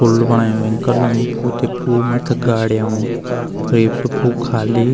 पुल बणयूं भेंकर लम्बू पु दी पु मथ्थी गाड़ियां अयुं पर ये सब पु खाली।